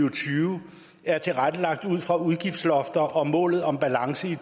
og tyve er tilrettelagt ud fra udgiftslofter og målet om balance i